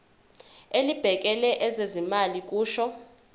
elibhekele ezezimali kusho